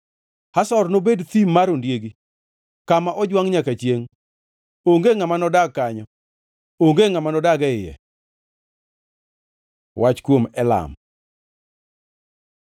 “Hazor nobed thim mar ondiegi, kama ojwangʼ nyaka chiengʼ. Onge ngʼama nodag kanyo; onge ngʼama nodag e iye.” Wach kuom Elam